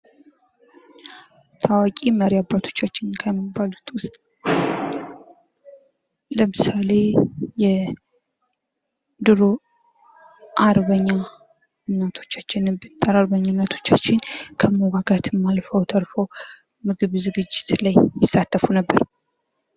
ታዋቂ መሪ አባቶቻችን ከሚባሉት ውስጥ ለምሳሌ የድሮ አርበኛ እናቶቻችን ከመዋጋትም አልፎ ተርፎ ምግብ ዝግጅት ላይ ይሳተፉ ነበር።